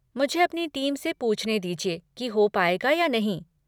मुझे अपनी टीम से पूछने दीजिए कि हो पाएगा या नहीं।